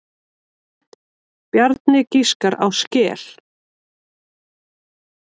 Bjarni giskar á skel.